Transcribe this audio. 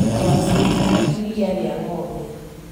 Ngwacĩ na iriia rĩa ng'ombe